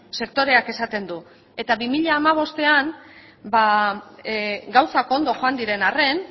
sektoreak esaten du eta bi mila hamabostean gauzak ondo joan diren arren